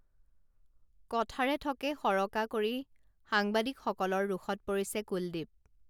কথাৰে থকা সৰকা কৰি সাংবাদিকসকলৰ ৰোষত পৰিছে কুলদীপ